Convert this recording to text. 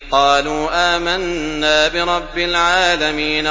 قَالُوا آمَنَّا بِرَبِّ الْعَالَمِينَ